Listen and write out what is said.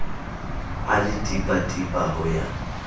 a le tipatipa ho ya